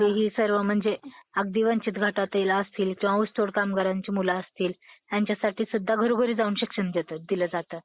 दुर्गाराम-मच्छाराम, दिनमणिशंकर, दलपतराय इत्यादिंच्या सहकार्यांनं, मानव धर्म सभा स्थापन केली होती. हे महत्वाचं आहे. ईश्वर एक आहे मनुष्य मात्रांचा,